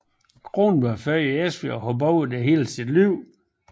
Kronborg er født i Esbjerg og har boet i byen hele livet